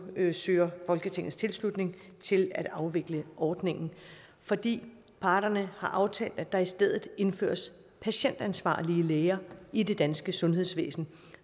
søger folketingets tilslutning til at afvikle ordningen fordi parterne har aftalt at der i stedet indføres patientansvarlige læger i det danske sundhedsvæsen